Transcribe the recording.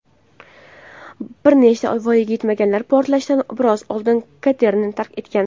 bir nechta voyaga yetmaganlar portlashdan biroz oldin katerni tark etgan.